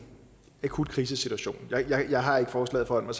akut krisesituation jeg har ikke forslaget foran mig